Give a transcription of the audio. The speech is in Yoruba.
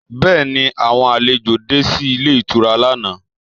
Bẹ́ẹ̀ni, àwọn àlejò de sí ilé ìtura lánàá